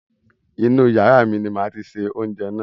Inú yàrá ní máa tí ṣe oúnjẹ náà